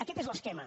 aquest és l’esquema